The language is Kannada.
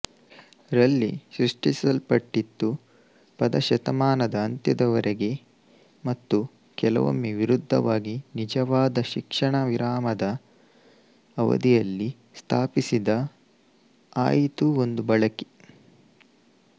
ರಲ್ಲಿ ಸೃಷ್ಟಿಸಲ್ಪಟ್ಟಿತು ಪದ ಶತಮಾನದ ಅಂತ್ಯದವರೆಗೆ ಮತ್ತು ಕೆಲವೊಮ್ಮೆ ವಿರುದ್ಧವಾಗಿ ನಿಜವಾದ ಶಿಕ್ಷಣವಿರಾಮದ ಅವಧಿಯಲ್ಲಿ ಸ್ಥಾಪಿಸಿದ ಆಯಿತು ಒಂದು ಬಳಕೆ